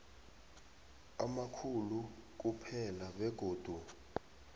amakhulu kuphela begodu